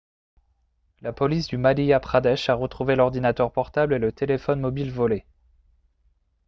la police du madhya pradesh a retrouvé l'ordinateur portable et le téléphone mobile volés